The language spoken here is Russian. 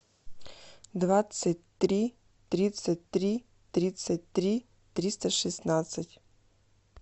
двадцать три тридцать три тридцать три триста шестнадцать